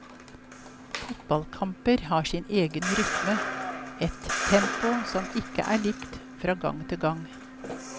Fotballkamper har sin egen rytme, et tempo som ikke er likt fra gang til gang.